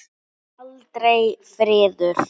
Aldrei friður.